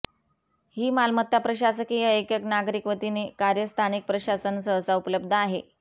ही मालमत्ता प्रशासकीय एकक नागरिक वतीने कार्य स्थानिक प्रशासन सहसा उपलब्ध आहे